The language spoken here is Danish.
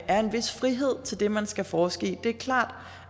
er en vis frihed til det man skal forske i det er klart